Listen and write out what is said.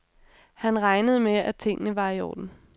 Han regnede med, at tingene var i orden.